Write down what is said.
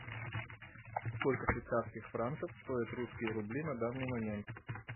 сколько швейцарских франков стоят русские рубли на данный момент